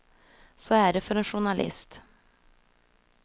Så är det för en journalist.